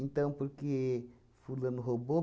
Então, por que fulano roubou?